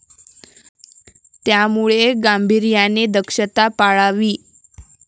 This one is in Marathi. त्यामुळे गांभीर्याने दक्षता पाळावी.